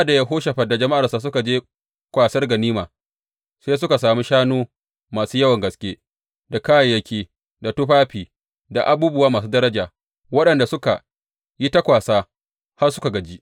Sa’ad da Yehoshafat da jama’arsa suka je kwasar ganima, sai suka sami shanu masu yawan gaske, da kayayyaki, da tufafi, da abubuwa masu daraja, waɗanda suka yi ta kwasa har suka gaji.